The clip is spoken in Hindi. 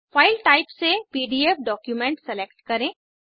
फाइल टाइप से पीडीएफ डॉक्यूमेंट सेलेक्ट करें